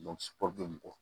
mɔgɔw